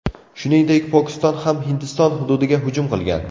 Shuningdek, Pokiston ham Hindiston hududiga hujum qilgan.